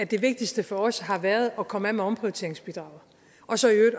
det vigtigste for os har været at komme af med omprioriteringsbidraget og så